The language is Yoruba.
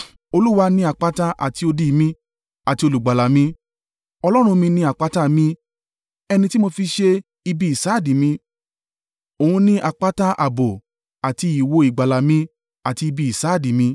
Olúwa ni àpáta àti odi mi, àti olùgbàlà mi; Ọlọ́run mi ni àpáta mi, ẹni tí mo fi ṣe ibi ìsádi mi. Òun ni àpáta ààbò àti ìwo ìgbàlà mi àti ibi ìsádi mi.